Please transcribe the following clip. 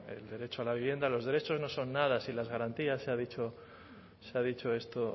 el derecho a la vivienda los derechos no son nada sin las garantías se ha dicho esto